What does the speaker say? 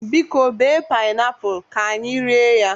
Biko, bee painiapulu, ka anyi rie ya